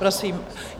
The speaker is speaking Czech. Prosím...